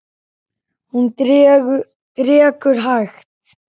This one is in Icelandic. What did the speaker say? Hún drekkur hægt.